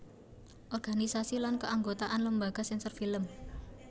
Organisasi lan Keanggotaan Lembaga Sensor Film